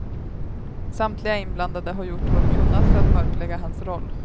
Samtliga inblandade har gjort vad de kunnat för att mörklägga hans roll.